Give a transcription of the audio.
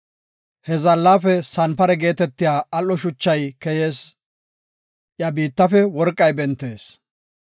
He zaallafe sanpare geetetiya al7o shuchay keyees; iya biittafe worqay bentees.